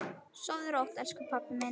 Sofðu rótt, elsku pabbi minn.